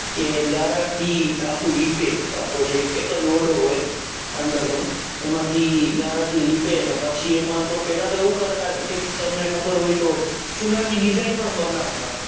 કે ગારા થી કાકો લીપે આખો જે એક જ ઓરડો હોય અંદર નો. એમાંથી ગારા થી લીપે ને પછી એમાંતો પેલા એવું કરતા કે કૈક તમને ખબર હોય તો ચુના થી design પણ બનાવતા.